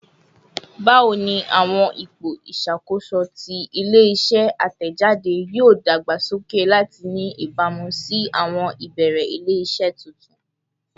Bawo ni awọn ipo iṣakoso ti ile-iṣẹ atẹjade yoo dagbasoke lati ni ibamu si awọn ibeere ile-iṣẹ tuntun?